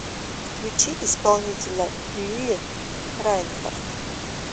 включи исполнителя лили райнхарт